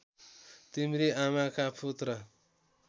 तिम्री आमाका पुत्र